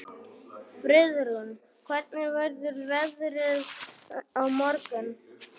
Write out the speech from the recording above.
Friðrún, hvernig verður veðrið á morgun?